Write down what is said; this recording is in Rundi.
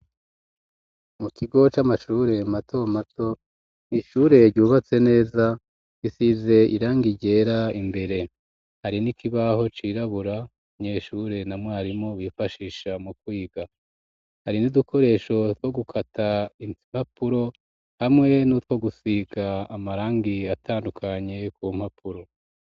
Mu kigo c'amashure matomato ishure ryubatse neza gisize iranga ijera imbere hari n'ikibaho cirabura myeshure na mwarimu bifashisha mu kwiga hari n'idukoresho two gukata insipapuro hamwe n'utwo gusika amara angi atandukanye ku mpapuro.